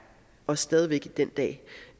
og stadig væk i dag